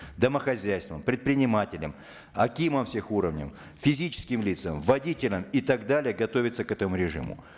домохозяйствам предпринимателям акимам всех уровней физическим лицам водителям и так далее готовиться к этому режиму